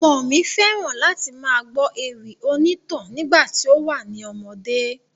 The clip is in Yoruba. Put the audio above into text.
Ọmọ mi fẹ́ran láti máa gbọ́ ewì onítàn nígbà tí ó wà ní ọmọdé.